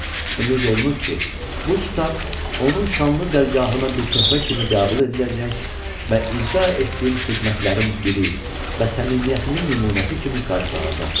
Ümid olunur ki, bu kitab onun şanlı dərgahına bir töhfə kimi qəbul ediləcək və icra etdiyim xidmətlərin biri və səmimiyyətimin nümunəsi kimi qarşılanacaqdır.